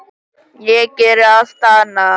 Ég geri allt annað.